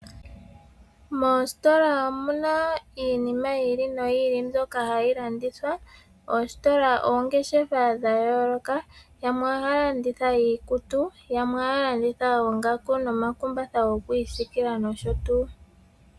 Moositola omuna iinima yi ili noyi ili mbyoka hayi landithwa. Oositola oongeshefa dha yooloka yamwe ohaya landitha iikutu, yamwe ohaya landitha oongaku nomakumbatha goku isiikila nosho tuu.